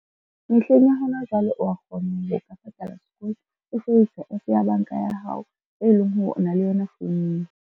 Mehleng ya hona jwale o a kgona ho ka patala sekolo o sebedisa app ya banka ya hao, e leng hore o na le yona founung.